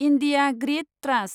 India grid trust